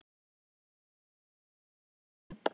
Hún hugsaði um hvað henni þætti vænt um hann.